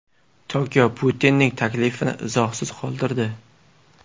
Tokio Putinning taklifini izohsiz qoldirdi.